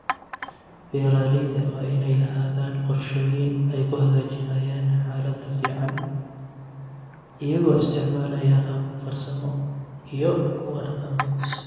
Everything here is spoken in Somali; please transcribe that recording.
Beeralayda waa inay lahaadaan qorshooyin ay ku hagaajinayaan xaaladda finan iyagoo isticmaalaya habab farsamo iyo kuwo dhaqameed.